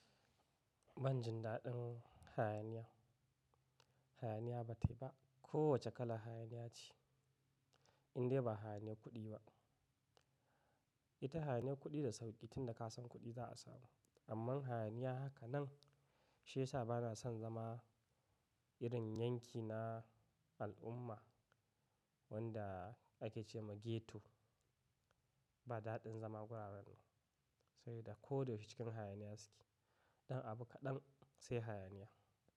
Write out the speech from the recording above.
Ban jin daɗin hayaniya. Hayaniya ba tai ba. Kowace kalar hayaniya ce, indai ba hayaniyar kuɗi ba. Ita hayaniyar kuɗi da sauƙi, tin da ka san kuɗi za a samu. Amma hayaniya haka nan, shiyasa bana son zama irin yanki na al'umma wanda ake ce ma ghetto. Ba daɗin zama wuraren nan. Sabida ko da yaushe cikin hayaniya suke. Ɗan abu kaɗan sai hayaniya.